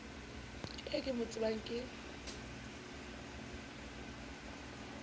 eo ke mo tsebang ke